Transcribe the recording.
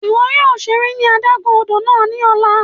Iwọ yóò ṣere ní adágún odò náà ni ọla!